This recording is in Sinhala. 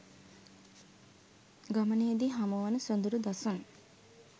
ගමනේදී හමුවන සොඳුරු දසුන්